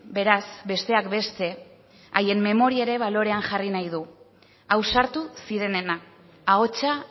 beraz besteak beste haien memoria ere balorean jarri nahi du ausartu zirenena ahotsa